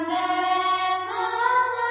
Vande Mataram